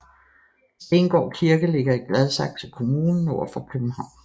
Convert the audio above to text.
Stengård Kirke ligger i Gladsaxe Kommune nord for København